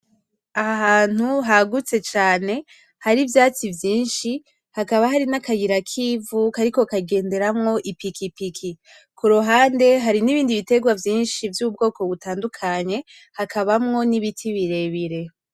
Aha hantu hagutse cane hari ivyatsi vyishi hakaba hari n’akayira kivu kariko kagenderamo ipikipiki kuruhande hari n’ibindi biterwa vyishi vy’ubwoko bitandukanye hakabamwo n’ibiti birebire.